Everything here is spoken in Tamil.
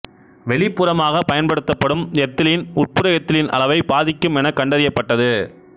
வெளிப்புறமாகப் பயன்படுத்தப்படும் எத்திலீன் உட்புற எத்திலீன் அளவை பாதிக்கும் என கண்டறியப்ட்டது